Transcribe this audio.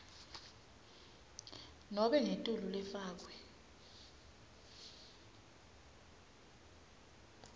nobe ngetulu lefakwe